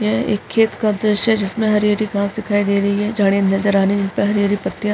यह एक खेत का दृश्य जिसमें हरी-हरी घास दिखाई दे रही हैं। झाड़ियाँ नजर आने प हरी-हरी पत्तियाँ --